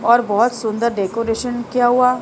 और बहोत सुंदर डेकोरेशन किया हुआ--